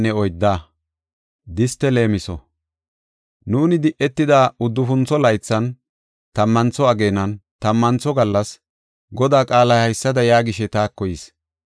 Nuuni di7etida uddufuntho laythan, tammantho ageenan, tammantho gallas, Godaa qaalay haysada yaagishe taako yis.